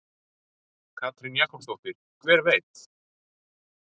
Katrín Jakobsdóttir: Hver veit?